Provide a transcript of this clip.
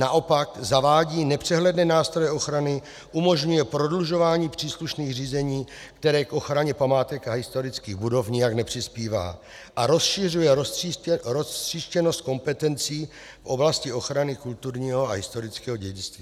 Naopak, zavádí nepřehledné nástroje ochrany, umožňuje prodlužování příslušných řízení, které k ochraně památek a historických budov nijak nepřispívá, a rozšiřuje roztříštěnost kompetencí v oblasti ochrany kulturního a historického dědictví.